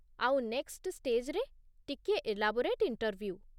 ଆଉ ନେକ୍‌ଷ୍ଟ‌ ଷ୍ଟେଜ୍‌ରେ ଟିକିଏ ଏଲାବୋରେଟ୍ ଇଣ୍ଟର୍ଭ୍ୟୁ ।